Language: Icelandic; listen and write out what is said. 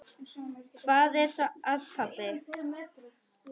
Hvað er að, pabbi?